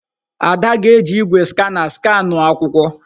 Ada ga-eji igwé skana skanuo akwụkwọ.